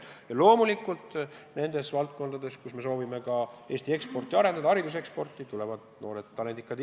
Ja loomulikult nendes valdkondades, kus me soovime Eesti hariduseksporti arendada, on noored talendikad inimesed oodatud.